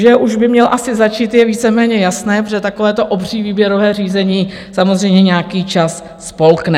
Že už by měl asi začít, je víceméně jasné, protože takovéto obří výběrové řízení samozřejmě nějaký čas spolkne.